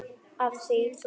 Af því þú fórst.